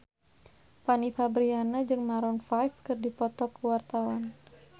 Fanny Fabriana jeung Maroon 5 keur dipoto ku wartawan